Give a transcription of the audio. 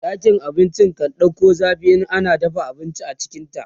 ɗakin abinci kan ɗauku zafi in ana dafa abinci a cikinta